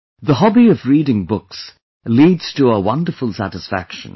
The hobby of reading books leads to a wonderful satisfaction